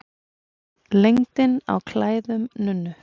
Lengdin á klæðum nunnu.